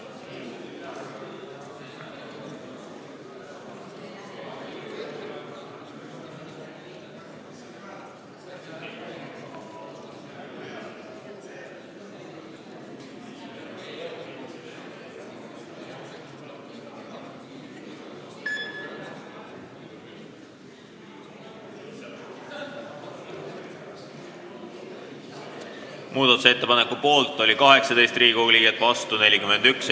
Hääletustulemused Muudatusettepaneku poolt oli 18 Riigikogu liiget ja vastu 41.